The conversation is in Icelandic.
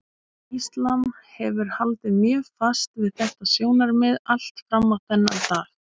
Íslam hefur haldið mjög fast við þetta sjónarmið allt fram á þennan dag.